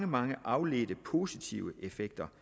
mange afledte positive effekter